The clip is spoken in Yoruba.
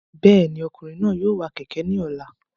Bẹ́ẹ̀ni, ọkùnrin náà yóò wa kẹ̀kẹ́ ní ọ̀la